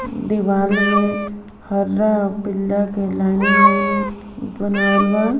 दिवाल में हरा व पीला के लाइनिंग लाइनिंग बनावल बा।